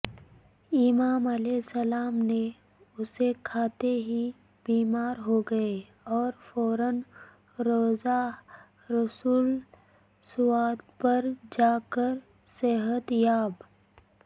امام علیہ السلام نے اسے کھاتے ہی بیمارہوگیے اورفوراروضہ رسول ص پرجاکر صحت یاب